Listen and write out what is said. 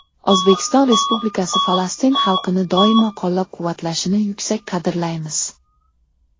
O‘zbekiston Respublikasi Falastin xalqini doimo qo‘llab-quvvatlashini yuksak qadrlaymiz.